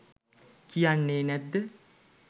කියන්නෙ නැත්ද?